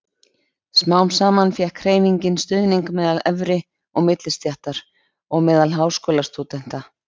Smám saman fékk hreyfingin stuðning meðal efri- og millistéttar og meðal háskólastúdenta.